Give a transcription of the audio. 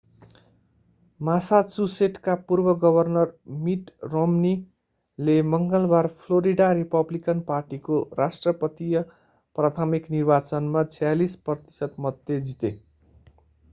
मासाचुसेटका पूर्व governor mitt romney ले मङ्गलबार फ्लोरिडा रिपब्लिकन पार्टीको राष्ट्रपतीय प्राथमिक निर्वाचनमा 46 प्रतिशत मतले जिते